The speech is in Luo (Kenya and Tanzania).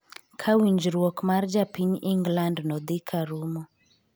ka winjruok mar japiny Ingland no dhi ka rumo